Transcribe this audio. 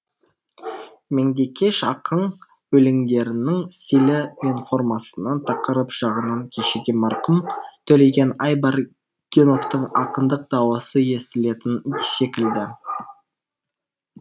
меңдекеш ақын өлеңдерінің стилі мен формасынан тақырып жағынан кешегі марқұм төлеген айбергеновтың ақындық дауысы естілетін секілді